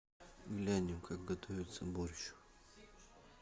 глянем как готовится борщ